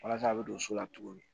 Walasa a bɛ don so la cogo min